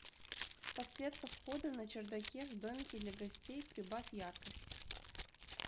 подсветка входа на чердаке в домике для гостей прибавь яркость